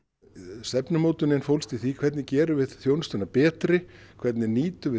stefnumótunin fólst í því hvernig gerum við þjónustuna betri hvernig nýtum við